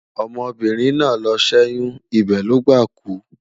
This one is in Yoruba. ọmọ birin nà ló sẹ oyun, ibe Logba kú